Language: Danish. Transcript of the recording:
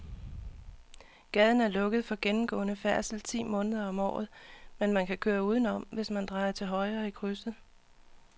Gaden er lukket for gennemgående færdsel ti måneder om året, men man kan køre udenom, hvis man drejer til højre i krydset.